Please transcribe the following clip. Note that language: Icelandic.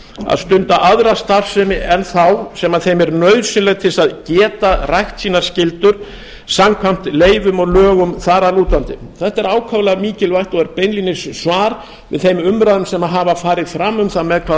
að stunda aðra starfsemi en þá sem þeim er nauðsynleg til að geta rækt sínar skyldur samkvæmt leyfum og lögum þar að lútandi þetta er ákaflega mikilvægt og er beinlínis svar við þeim umræðum sem hafa farið fram um það með hvaða